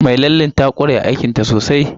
Mai lallen ta ƙware aikinta sosai